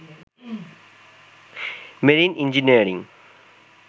marine engineering